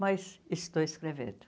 Mas estou escrevendo.